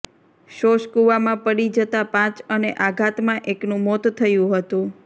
શોષકૂવામાં પડી જતા પાંચ અને આઘાતમાં એકનું મોત થયું હતું